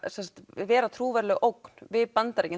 vera trúverðug ógn við Bandaríkin